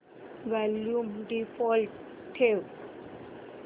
volume default ठेव